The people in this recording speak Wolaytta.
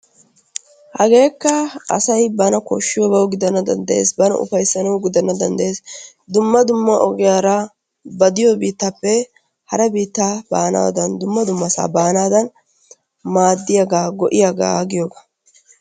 Hageekka asayi bana koshshiyabawu gidana danddayees, bana ufayssanawu gidana danddayees, dumma dumma ogiyara ba diyo biittaappe hara biittaa baanaadan dumma dummasaa baanaadan maaddiyagaa go'iyagaa giyogaa.